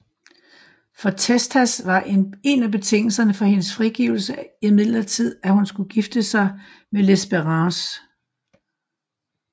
For Testas var en af betingelserne for hendes frigivekse imidlertid at hun skulle gifte sig med Lespérance